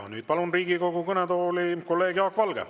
Nüüd palun Riigikogu kõnetooli kolleeg Jaak Valge.